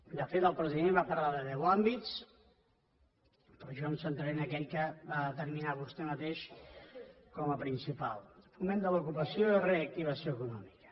de fet el president va parlar de deu àmbits però jo em centraré en aquell que va determinar vostè mateix com a principal el foment de l’ocupació i la reactivació econòmica